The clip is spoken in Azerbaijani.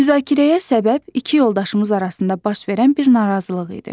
Müzakirəyə səbəb iki yoldaşımız arasında baş verən bir narazılıq idi.